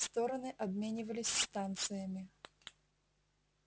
стороны обменивались станциями